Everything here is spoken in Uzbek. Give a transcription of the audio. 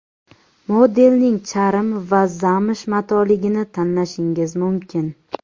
Modelning charm va zamsh matoligini tanlashingiz mumkin.